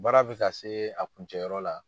Baara bɛ ka se a kuncɛ yɔrɔ la.